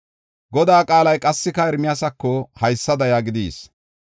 Godaa qaalay qassika Ermiyaasako haysada yaagidi yis.